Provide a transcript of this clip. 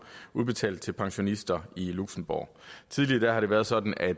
udbetalt til pensionister i luxembourg tidligere har det været sådan at